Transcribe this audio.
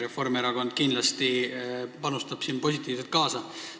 Reformierakond aitab siin kindlasti kaasa.